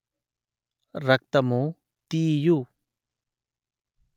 రక్తము తీయు